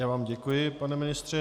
Já vám děkuji, pane ministře.